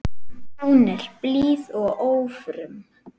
Hún er blíð og ófröm.